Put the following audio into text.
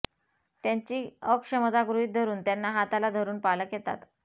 त्यांची अक्षमता गृहित धरून त्यांना हाताला धरून पालक येतात